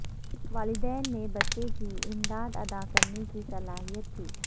والدین نے بچے کی امداد ادا کرنے کی صلاحیت تھی